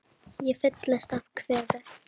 Ég fyllist af kvefi.